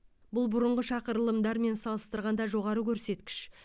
бұл бұрынғы шақырылымдармен салыстырғанда жоғары көрсеткіш